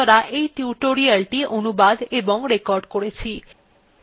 এই টিউটোরিয়ালএ অংশগ্রহন করার জন্য ধন্যবাদ